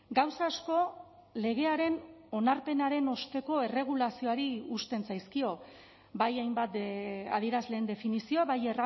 gauza asko legearen onarpenaren osteko erregulazioari uzten zaizkio bai hainbat adierazleen definizioa bai